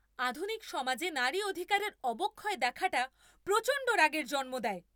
আধুনিক সমাজে নারী অধিকারের অবক্ষয় দেখাটা প্রচণ্ড রাগের জন্ম দেয়।